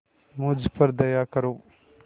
मुझ पर दया करो